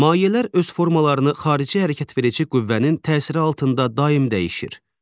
Mayələr öz formalarını xarici hərəkətverici qüvvənin təsiri altında daim dəyişir.